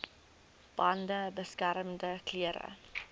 bande beskermende klere